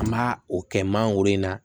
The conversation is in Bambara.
An b'a o kɛ mangoro in na